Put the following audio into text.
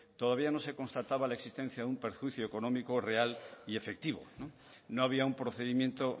todavía no se constataba la existencia de un perjuicio económico real y efectivo no había un procedimiento